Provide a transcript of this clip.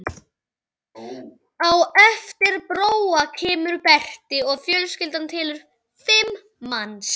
Á eftir Bróa kemur Berti og fjölskyldan telur fimm manns.